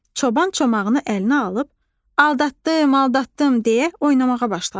Çoban çomağını əlinə alıb "Aldatdım, aldatdım" deyə oynamağa başladı.